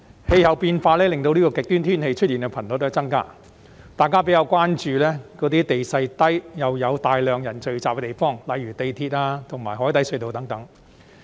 氣候變化令極端天氣出現的頻率增加，大家比較關注地勢低又有大量人群聚集的地方，例如港鐵和海底隧道等。